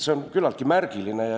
See on küllaltki märgiline.